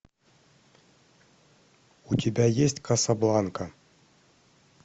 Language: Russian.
у тебя есть касабланка